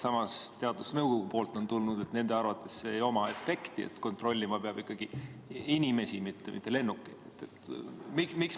Samas, teadusnõukojalt on tulnud info, et nende arvates ei ole sellel efekti, kontrollima peab ikkagi inimesi, mitte lennukeid.